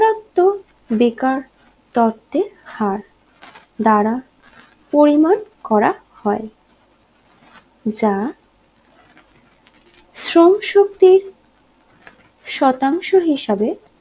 বেকার তথ্যে হার দ্বারা পরিমান করা হয় যা শ্রম শক্তির শতাংশ হিসেবে